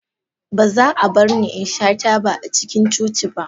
Ba za a bar ni in sha taba a cikin coci ba.